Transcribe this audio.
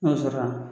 N'o sɔrɔla